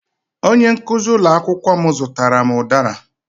Onye nkuzi ụlọ akwụkwọ m zụtara m udara